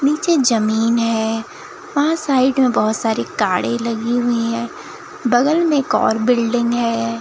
नीचे जमीन है वहां साइड में बहुत सारी कारें लगी हुई हैं बगल में एक और बिल्डिंग है।